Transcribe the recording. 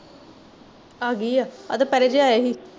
ਆ ਗਈ ਆ ਦੁਪਹੇਰੇ ਲੈ ਆਏ ਸੀ